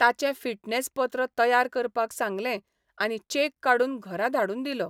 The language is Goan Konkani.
ताचें फिटनेस पत्र तयार करपाक सांगलें आनी चेक काडून घरा धाडून दिलो.